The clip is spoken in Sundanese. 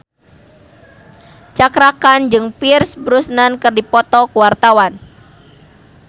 Cakra Khan jeung Pierce Brosnan keur dipoto ku wartawan